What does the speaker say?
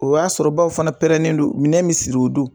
O y'a sɔrɔ baw fana don minɛn bɛ siri o don.